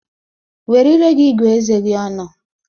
Were ire gi gụọ eze gi ọnụ!